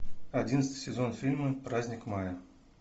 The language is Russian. одиннадцатый сезон фильма праздник мая